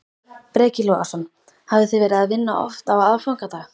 Breki Logason: Hafið þið verið að vinna oft á aðfangadag?